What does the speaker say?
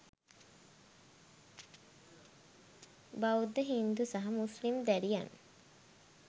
බෞද්ධ හින්දු සහ මුස්ලිම් දැරියන්.